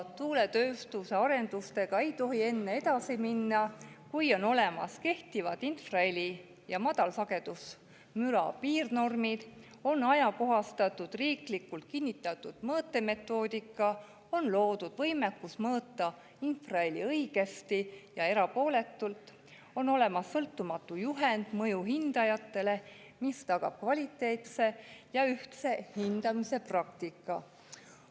Tuuletööstuse arendustega ei tohi enne edasi minna, kuni on olemas kehtivad infraheli ja madalsagedusmüra piirnormid, on ajakohastatud riiklikult kinnitatud mõõtemetoodika, on loodud võimekus mõõta infraheli õigesti ja erapooletult ning on olemas sõltumatu juhend mõjuhindajatele, mis tagab kvaliteetse ja ühtse hindamispraktika.